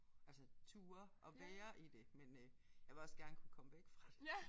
Altså ture og være i det men øh jeg vil også gerne kunne komme væk fra det